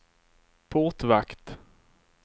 portvakt